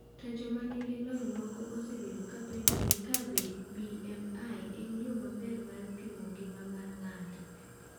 To joma nigi lony moko osebedo ka penjore ka be BMI en yo maber mar pimo ngima mar ng’ato.